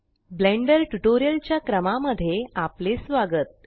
blender tutorial च्या क्रमा मध्ये आपले स्वागत